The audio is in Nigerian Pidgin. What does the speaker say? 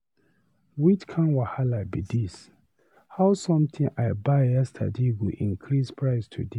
Which kin wahala be this. How something I buy yesterday go increase price today.